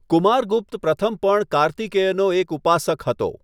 કુમારગુપ્ત પ્રથમ પણ કાર્તિકેયનો એક ઉપાસક હતો.